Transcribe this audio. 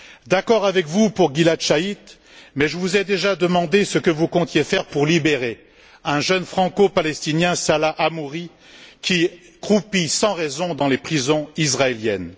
D'accord avec vous pour Gilad Shalit mais je vous ai déjà demandé ce que vous comptiez faire pour libérer un jeune franco palestinien, Salah Hamouri, qui croupit sans raison dans les prisons israéliennes.